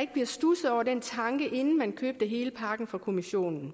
ikke blev studset over den tanke inden man købte hele pakken fra kommissionen